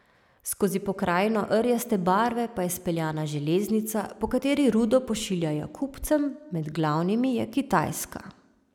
Skozi pokrajino rjaste barve pa je speljana železnica, po kateri rudo pošiljajo kupcem, med glavnimi je Kitajska.